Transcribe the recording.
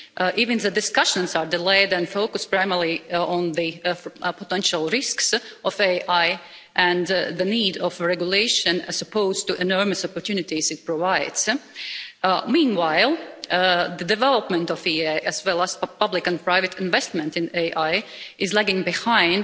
Even the discussions are delayed and focus primarily on the potential risks of AI and the need for regulation, as opposed to the enormous opportunities it provides. Meanwhile, the development of AI as well as public and private investment in it is lagging behind